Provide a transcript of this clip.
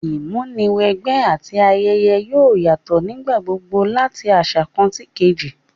Ìmúniwẹgbẹ́ àti ayẹyẹ yoo yatọ nígbà gbogbo lati aṣa kan síkejì